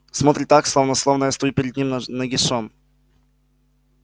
смотрит так словно словно я стою перед ним нагишом